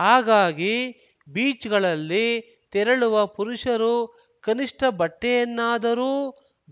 ಹಾಗಾಗಿ ಬೀಚ್‌ಗಳಲ್ಲಿ ತೆರಳುವ ಪುರುಷರು ಕನಿಷ್ಠ ಬಟ್ಟೆಯನ್ನಾದರೂ